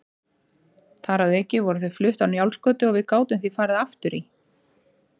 Þar að auki voru þau flutt á Njálsgötu og við gátum því farið aftur í